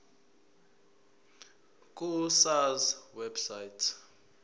ku sars website